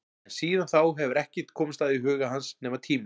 En síðan þá hefur ekkert komist að í huga hans nema tíminn.